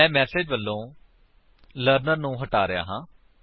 ਮੈਂ ਮੇਸੇਜ ਵਲੋਂ ਲਰਨਰ ਨੂੰ ਹਟਾ ਰਿਹਾ ਹਾਂ